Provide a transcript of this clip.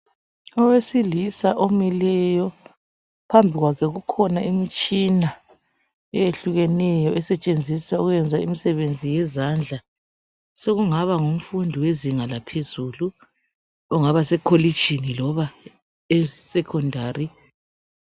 Owesilisa omileyo phambi kwakhe kukhona imitshina eyehlukeneyo esetshenziswa ukwenza imisebenzi yezandla. Sokungaba ngumfundi wezinga laphezulu ongaba sekolitshini loba esecondary.